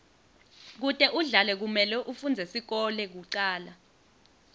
kute udlale kumele ufundze sikolo kucala